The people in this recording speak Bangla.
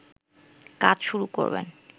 কাজ শুরু করবেন